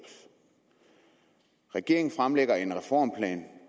regeringen fremlægger en reformplan